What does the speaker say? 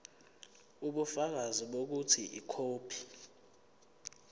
ubufakazi bokuthi ikhophi